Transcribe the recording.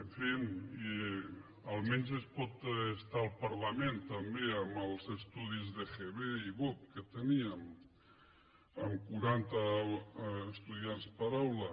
en fi almenys es pot estar al parlament també amb els estudis d’egb i bup que teníem amb quaranta estudiants per aula